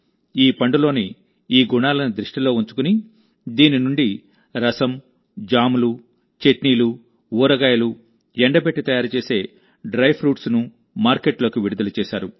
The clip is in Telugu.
ఈ పండులోని ఈ గుణాలను దృష్టిలో ఉంచుకుని ఇప్పుడు బేడు రసం జామ్లు చట్నీలు ఊరగాయలు ఎండబెట్టి తయారు చేసిన డ్రై ఫ్రూట్స్ను మార్కెట్లోకి విడుదల చేశారు